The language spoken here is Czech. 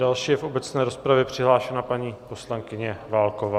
Další je v obecné rozpravě přihlášena paní poslankyně Válková.